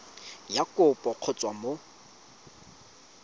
ya kopo go tswa mo